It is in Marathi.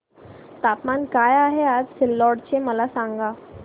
तापमान काय आहे आज सिल्लोड चे मला सांगा